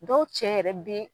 Dɔw cɛ yɛrɛ be